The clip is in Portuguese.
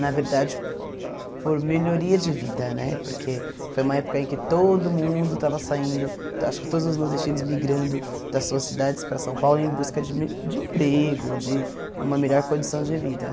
Na verdade, por melhoria de vida né, porque foi uma época em que todo mundo estava saindo, acho que todos os nordestinos migrando das suas cidades para São Paulo em busca de me de emprego, de uma melhor condição de vida.